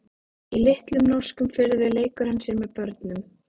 Í litlum norskum firði leikur hann sér með börnum.